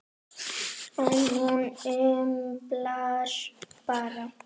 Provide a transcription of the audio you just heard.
En hún umlar bara.